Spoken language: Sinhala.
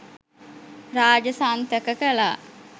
රාජසන්තක කළා